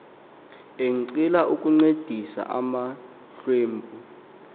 enqila ukuncedisa amahlwempu